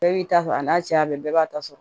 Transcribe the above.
Bɛɛ b'i ta sɔrɔ a n'a cɛya bɛɛ b'a ta sɔrɔ